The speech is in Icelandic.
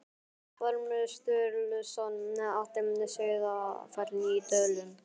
Ormur Sturluson átti Sauðafell í Dölum.